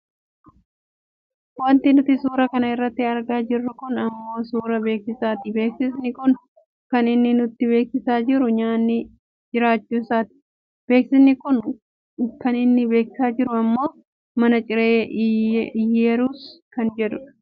Wanti nuti suura kana irratti argaa jirru kun ammoo suuraa beeksisaati. Beeksisni kun kan inni nutti beeksisaa jiru nyaanni jiraachuusaati. Beeksisni kun kan inni beeksisaa jiru ammoo mana ciree iyyerus kan jedhudha